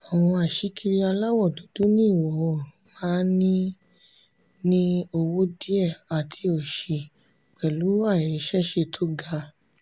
àwọn aṣíkiri aláwọ̀ dúdú ní ìwọ̀-oòrùn máa ń ní ń ní owó díẹ̀ àti òṣì pẹ̀lú àìríṣẹ́ṣe tó ga.